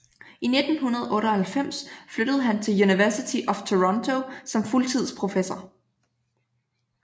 I 1998 flyttede han til University of Toronto som fuldtidsprofessor